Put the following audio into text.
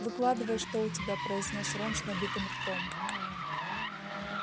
выкладывай что у тебя произнёс рон с набитым ртом